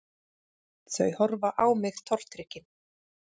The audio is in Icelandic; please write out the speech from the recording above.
Þau horfa á mig tortryggin